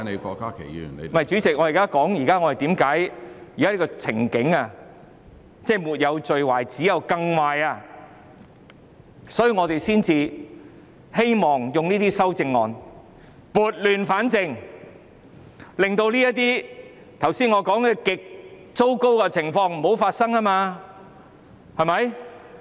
不是，主席，我正在說現在的情景沒有最壞，只有更壞。所以，我們希望用這些修正案撥亂反正，令我剛才說這些極糟糕的情況不要發生。